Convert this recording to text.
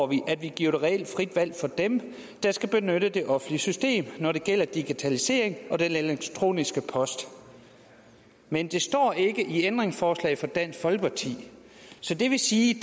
vi at vi giver et reelt frit valg for dem der skal benytte det offentlige system når det gælder digitalisering og den elektroniske post men det står ikke i ændringsforslaget fra dansk folkeparti så det vil sige